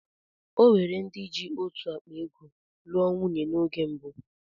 Ọnwere ndị jị otú ákpá ego'lụọ nwunye na oge mbụ.